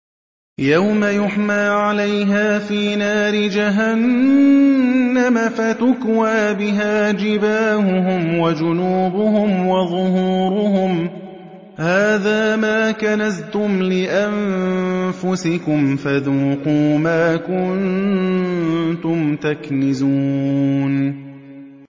يَوْمَ يُحْمَىٰ عَلَيْهَا فِي نَارِ جَهَنَّمَ فَتُكْوَىٰ بِهَا جِبَاهُهُمْ وَجُنُوبُهُمْ وَظُهُورُهُمْ ۖ هَٰذَا مَا كَنَزْتُمْ لِأَنفُسِكُمْ فَذُوقُوا مَا كُنتُمْ تَكْنِزُونَ